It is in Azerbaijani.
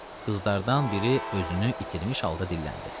Qızlardan biri özünü itirmiş halda dilləndi.